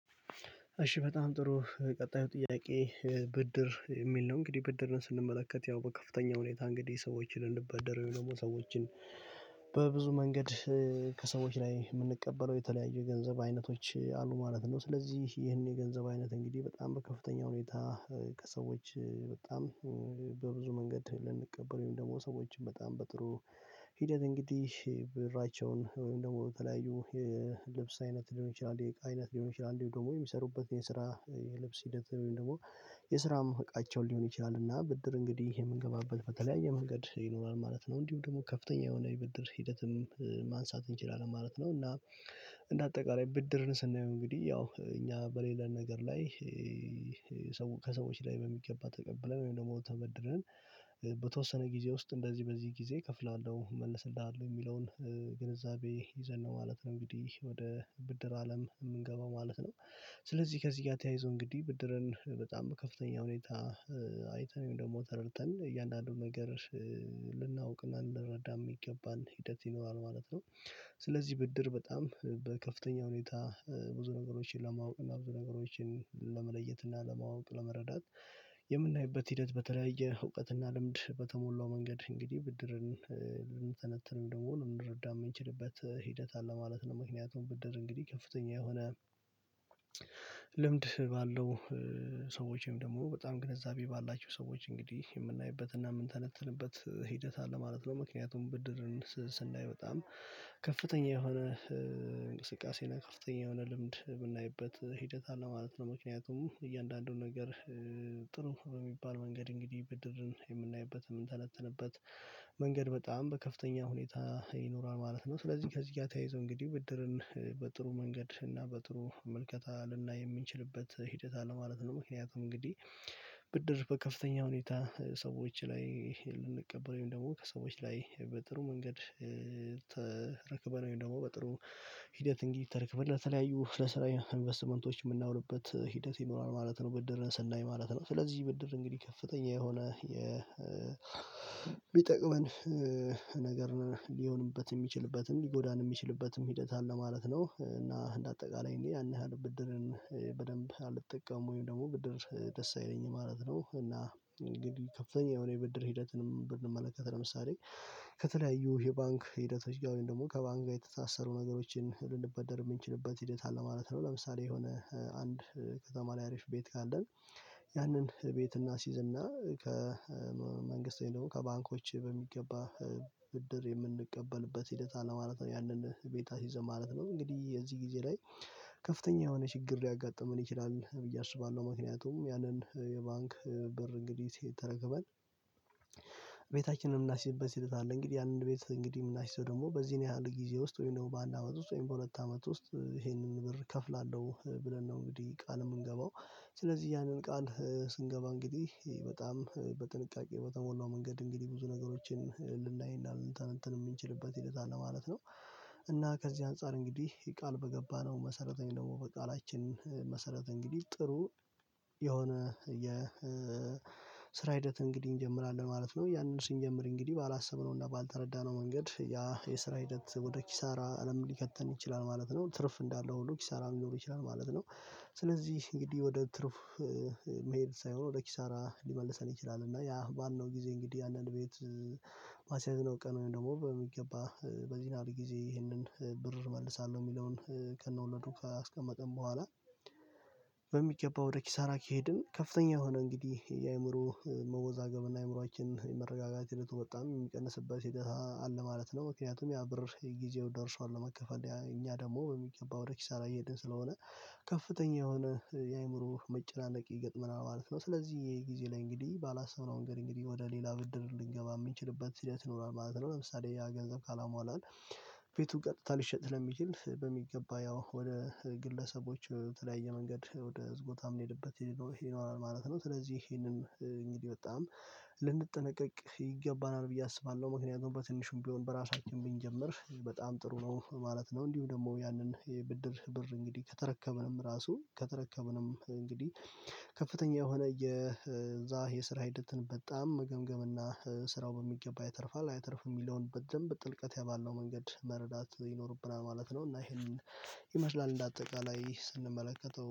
እሺ በጣም ጥሩ ቀጣዩ ጥያቄ ብድር የሚል ነው እንግዲህ ብድርን ስንመለከት ያው በከፍተኛ ሁኔታ እንግዲህ ሰዎችን ልንበደር ወይም ደግሞ በብዙ መንገድ ከሰዎች ላይ የምንቀበለው የተለያዩ የገንዘብ አይነቶች አሉ ማለት ነው። ስለዚህ ይሄን የገንዘብ አይነት እንግዲህ በጣም በከፍተኛ ሁኔታ ከሰዎች በጣም በብዙ መንገድ ልንቀበለው ወይም ደግሞ ሰዎችን በጣም በጥሩ ሂደት እንግዲህ ብራቸውን ወይም ደግሞ በተለያዩ የልብስ አይነት ሊሆን ይችላል የእቃ የቃይነት ሊሆን ይችላል እንዲሁም ደግሞ የሚሰሩበት የስራ የልብስ ሂደት ወይም ደግሞ የስራም እቃቸውን ሊሆን ይችላልና ብድር እንግዲህ የምንገባበት በተለያየ መንገድ ይኖራል ማለት ነው እንዲሁ ደግሞ ከፍተኛ የሆነ ይበድር ሂደትም ማንሳት እንችላለን ማለት ነው። እና እንደ አጠቃላይ ብድርን ስናየው እንግዲህ ያው እኛ በሌለን ነገር ላይ ሰው ከሰዎች ላይ በሚገባ ተቀብለን ወይም ደግሞ ተበድረን በተወሰነ ጊዜ ውስጥ እንደዚህ በዚህ ጊዜ እከፍላለሁ እመልስልሃለሁ የሚለውን ግንዛቤ ይዘን ነው ማለት ነው። እንግዲህ ወደ ብድር አለም የምንገባው ማለት ነው ስለዚህ ከዚህ ጋር ተያይዞ እንግዲህ ብድርን በጣም ከፍተኛ ሁኔታ አይተን ወይም ደግሞ ተረድተን እያንዳንዱን ነገር ልናውቅና እንድረዳ የሚገባን ሂደት ይኖራል ማለት ነው። ስለዚህ ብድር በጣም በከፍተኛ ሁኔታ ብዙ ነገሮችን ለማወቅ እና ብዙ ነገሮችን ለመለየት እና ለማወቅ ለመረዳት የምናይበት ሂደት በተለያየ እውቀት እና ልምድ በተሞላው መንገድ እንግዲህ ብድርን ልንተነትን ልንተነትን ወይንም ደግሞ ልንረዳ የምንችልበት ሂደት አለ ማለት ነው። ምክንያቱም ብድር እንግዲህ ከፍተኛ የሆነ ልምድ ባለው ሰዎችም ወይም ደግሞ በጣም ግንዛቤ ባላቸው ሰዎች እንግዲህ የምናይበት እና የምንተነትንበት ሂደት አለ ማለት ነው። ምክንያቱም ብድርን ስናይ በጣም ከፍተኛ የሆነ እንቅስቃሴ እና ከፍተኛ የሆነ ልምድ የምናይበት ሂደት አለ ማለት ነው። ምክንያቱም እያንዳንዱን ነገር ጥሩ በሚባል መንገድ እንግዲህ ብድርን የምናይበት የምንተነተንበት መንገድ በጣም በከፍተኛ ሁኔታ ይኖራል ማለት ነው። ስለዚህ ከዚህ ጋር ተያይዞ እንግዲህ ብድርን በጥሩ መንገድ እና በጥሩ መልከታ ልናይ የምንችልበት ሂደት አለ ማለት ነው። ምክንያቱም እንግዲህ ብድር በከፍተኛ ሁኔታ ሰዎች ላይ ልንቀበለው ደግሞ ከሰዎች ላይ በጥሩ መንገድ ተረክበን ወይም ደግሞ በጥሩ ሂደት እንግዲህ ተረክበን ለተለያዩ ለስራ ኢንቨስትመንቶች የምናውልበት ሂደት ይኖራል ማለት ነው። ብድርን ስናይ ማለት ነው ስለዚህ ብድር እንግዲህ ከፍተኛ የሆነ የ የሚጠቅመን ነገር ሊሆንበት የሚችልበትም ሊጎዳን የሚችልበትም ሂደት አለ ማለት ነው። እና እንደ አጠቃላይ እኔ ያንን ብድርን በደንብ አልጠቀምም ወይም ደግሞ ብድር ደስ አይለኝም ማለት ነው። እና እንግዲህ ከፍተኛ የሆነ የብድር ሂደትንም ብንመለከት ለምሳሌ ከተለያዩ የባንክ ሂደቶች ወይም ደግሞ ከባንክ ጋር የተሳሰሩ ነገሮችን ልንበደር የምንችልበት ሂደት አለ ማለት ነው። ለምሳሌ የሆነ አንድ ከተማ ላይ አሪፍ ቤት ካለን ያንን ቤት እናሲዝና ከመንግስት ወይም ደግሞ ከባንኮች በሚገባ ብድር የምንቀበልበት ሂደት አለማለት ነው። ያንን ቤት አስይዘን ማለት ነው እንግዲህ የዚህ ጊዜ ላይ ከፍተኛ የሆነ ችግር ሊያጋጥመን ይችላል ብዬ አስባለሁ። ምክንያቱም ያንን የባንክ ብር እንግዲህ ሲ ተረክበን ቤታችንን የምናሲዝበት ሂደት አለ እንግዲህ ያንን ቤት እንግዲህ የምናሲዘው ደግሞ በዚህን ያህል ጊዜ ውስጥ ወይም ደግሞ በአንድ አመት ውስጥ ወይም በሁለት አመት ውስጥ ይሄንን ብር እከፍላለሁ ብለን ነው እንግዲህ ቃል የምንገባው ስለዚህ ያንን ቃል ስንገባ እንግዲህ በጣም በጥንቃቄ በተሞላው መንገድ እንግዲህ ብዙ ነገሮችን ልናይእና ልንተነትን የምንችልበት ሂደት አለ ማለት ነው። እና ከዚህ አንፃር እንግዲህ ቃል በገባነው መሰረት ወይም ደግሞ በቃላችን መሰረት እንግዲህ ጥሩ የሆነ የ ስራ ሂደት እንግዲህ እንጀምራለን ማለት ነው። ያንን ስንጀምር እንግዲህ ባላሰብነውና ባልተረዳነው መንገድ ያ የስራ ሂደት ወደ ኪሳራ አለም ሊከተን ይችላል ማለት ነው ትርፍ እንዳለው ሁሉ ኪሳራ ሊኖሩ ይችላል ማለት ነው። ስለዚህ እንግዲህ ወደ ትርፍ መሄድ ሳይሆን ወደ ኪሳራ ሊመልሰን ይችላል እና ያ ባልነው ጊዜ እንግዲህ አንዳንድ ቤት ማስያዝ ነው ቀን ወይም ደግሞ በሚገባ በዚህያህል ጊዜ ይህንን ብር እመልሳለሁ የሚለውን ከነወለዱ አስቀመጠን በኋላ በሚገባ ወደ ኪሳራ ከሄድን ከፍተኛ የሆነ እንግዲህ የአእምሮ መወዛገብና አእምሮአችን የመረጋጋት ህይወቱ በጣም የሚቀንስበት ሂደት አለ ማለት ነው። ምክንያቱም ያ ብር የጊዜው ደርሷል ለመከፈል እኛ ደግሞ የሚገባ ወደ ኪሳራ እየሄድን ስለሆነ ከፍተኛ የሆነ የአእምሮ መጨናነቅ ይገጥመናል ማለት ነው። ስለዚህ የጊዜ ላይ እንግዲህ ባላሰብነው ንገር እንግዲህ ወደ ሌላ ብድር ልንገባ የምንችልበት ሂደት ይኖራል ማለት ነው። ለምሳሌ ያ ገንዘብ ካላሟላን ቤቱ ቀጥታ ሊሸጥ ለሚችል በሚገባ ያው ወደ ግለሰቦች የተለያየ መንገድ ወደ ብዙቦታም የምንሄድበት ይኖራል ማለት ነው። ስለዚህ ይሄንን እንግዲህ በጣም ልንጠነቀቅ ይገባናል ብዬ አስባለሁ። ምክንያቱም በትንሹም ቢሆን በራሳችን ብንጀምር በጣም ጥሩ ነው ማለት ነው። እንዲሁ ደግሞ ያንን የብድር ብር እንግዲህ ከተረከብንም ራሱ ከተረከበንም እንግዲህ ከፍተኛ የሆነ የዛ የስራ ሂደትን በጣም ገምገምና ስራው በሚገባ ይተርፋል አይተርፍም የሚለውን በደንብ ጥልቀት ባለው መንገድ መረዳት ይኖርብናል ማለት ነው። እና ይሄንን ይመስላል እንደ አጠቃላይ ስንመለከተው